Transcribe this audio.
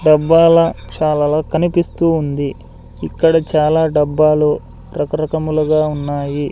డబ్బాల చాలలో కనిపిస్తూ ఉంది ఇక్కడ చాలా డబ్బాలు రకరకములుగా ఉన్నాయి.